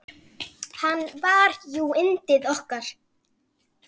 Hann var jú yndið okkar.